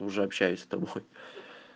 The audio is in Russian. уже общаюсь с тобой